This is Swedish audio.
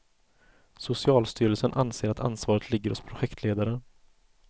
Socialstyrelsen anser att ansvaret ligger hos projektledaren.